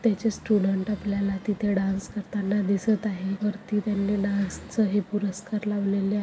त्याचे स्टुडेंट आपल्याला तिथे डांस करताना दिसत आहे वरती त्यांनी डांस च- हे पुरस्कार लावलेले--